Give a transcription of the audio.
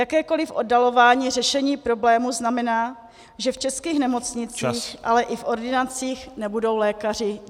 Jakékoliv oddalování řešení problému znamená, že v českých nemocnicích , ale i v ordinacích nebudou lékaři.